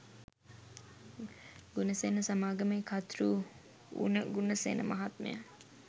ගුණසේන සමාගමේ කර්තෘ වුණ ගුණසේන මහත්මයා